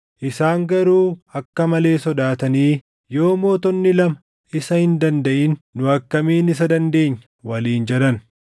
Isaan garuu akka malee sodaatanii, “Yoo mootonni lama isa hin dandaʼin nu akkamiin isa dandeenya?” waliin jedhan.